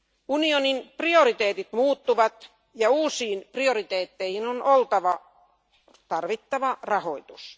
Unionin prioriteetit muuttuvat ja uusiin prioriteetteihin on oltava tarvittava rahoitus.